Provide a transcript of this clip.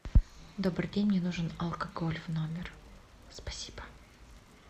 добрый день мне нужен алкоголь в номер спасибо